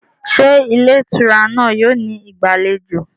Ṣé ilé ìtura náà yóò ní ìgbàlejò?